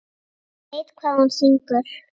Hún veit hvað hún syngur.